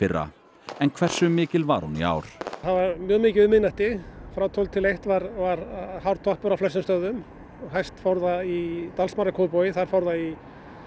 í fyrra en hversu mikil var hún í ár það var mjög mikið um miðnætti frá tólf til eitt var var hár toppur á flestum stöðvum og hæst fór það í Dalsmára í Kópavogi þar fór það í